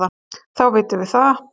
Þá vitum við það.